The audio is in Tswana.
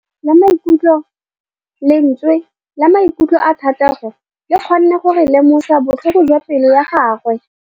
Lentswe la maikutlo a Thategô le kgonne gore re lemosa botlhoko jwa pelô ya gagwe.